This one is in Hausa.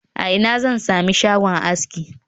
A ina zan sami shagon aski